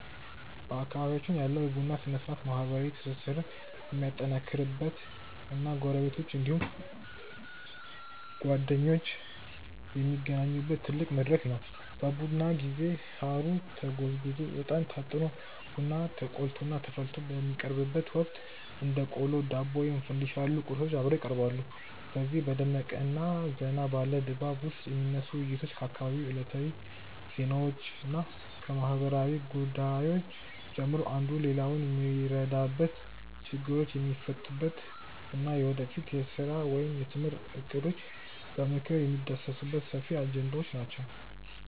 በአካባቢያችን ያለው የቡና ሥነ-ሥርዓት ማኅበራዊ ትስስርን የሚያጠናክርበት እና ጎረቤቶች እንዲሁም ጓደኞች የሚገናኙበት ትልቅ መድረክ ነው። በቡና ጊዜ ሳሩ ተጎዝጉዞ፣ ዕጣን ታጥኖ፣ ቡናው ተቆልቶና ተፈልቶ በሚቀርብበት ወቅት እንደ ቆሎ፣ ዳቦ ወይም ፋንዲሻ ያሉ ቁርሶች አብረው ይቀርባሉ። በዚህ በደመቀና ዘና ባለ ድባብ ውስጥ የሚነሱት ውይይቶች ከአካባቢው ዕለታዊ ዜናዎችና ከማኅበራዊ ጉዳዮች ጀምሮ፣ አንዱ ሌላውን የሚረዳበት፣ ችግሮች የሚፈቱበት እና የወደፊት የሥራ ወይም የትምህርት እቅዶች በምክክር የሚዳሰሱበት ሰፊ አጀንዳዎች ናቸው።